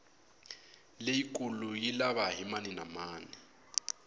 leyikulu yi lava hi mani na mani